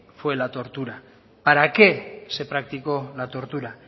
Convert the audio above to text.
fue la tortura para qué se practicó la tortura